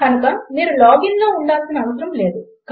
కనుక మీరు లాగ్ ఇన్లో ఉండాల్సిన అవసరం లేదు